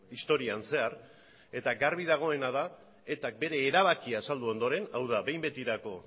historian zehar eta garbi dagoena da eta k bere erabakia azaldu ondoren hau da behin betirako